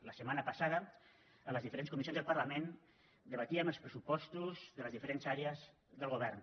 la setmana passada en les diferents comissions del parlament debatíem els pressupostos de les diferents àrees del govern